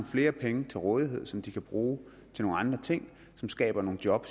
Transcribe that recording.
flere penge til rådighed som de kan bruge til nogle andre ting som skaber nogle job